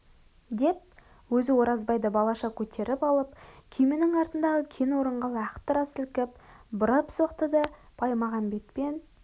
деп өзі оразбайды балаша көтеріп алып күй менің артындағы кең орынға лақтыра сілкіп бұрап соқты да баймағамбетпен